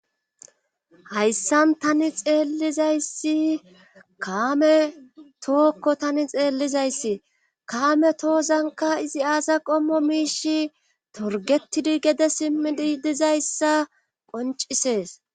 Hayssan tani xeellizayssi kaame tookko tani xeellizayssi kaame toozanka izi aasa qommo miishi torgettidi gede simmidi dizayssa qoncisees.